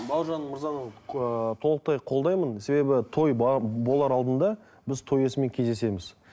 бауыржан мырзаның ыыы толықтай қолдаймын себебі той болар алдында біз той иесімен кездесеміз